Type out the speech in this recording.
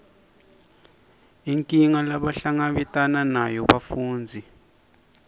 inkinga lebahlangabetana nayo bafundzi